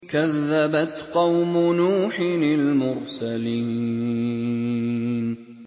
كَذَّبَتْ قَوْمُ نُوحٍ الْمُرْسَلِينَ